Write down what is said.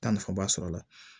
Taa nafaba sɔrɔ a la